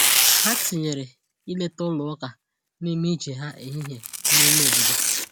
Ha tinyere ileta ụlọ ụka n’ime ije ha ehihie n’ime obodo.